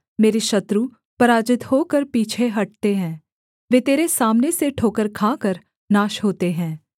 मेरे शत्रु पराजित होकर पीछे हटते हैं वे तेरे सामने से ठोकर खाकर नाश होते हैं